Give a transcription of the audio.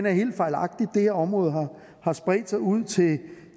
er helt fejlagtig det her område har spredt sig ud til